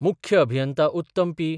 मुख्य अभियंता उत्तम पी.